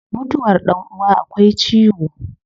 Mutuwar dan uwa akwai ciwo